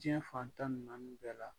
Diɲɛ fantan ni naani bɛɛ la